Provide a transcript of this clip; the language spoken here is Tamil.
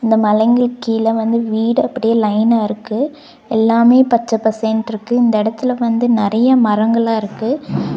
இந்த மலைங்களுக்கு கீழ வந்து வீடு அப்படியே லைனா இருக்கு எல்லாமே பச்ச பசேல்ட்ருக்கு இந்த எடத்துல வந்து நெறையா மரங்களா இருக்கு.